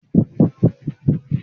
Sé ìwọ yóò pè mi ní fídíò call?